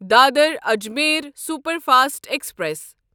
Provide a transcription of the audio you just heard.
Dadar Ajmer superfast express